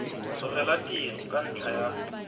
tlogela tiro ka ntlha ya